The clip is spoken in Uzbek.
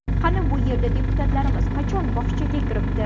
Qani bu yerda deputatlarimiz qachon bog‘chaga kiribdi?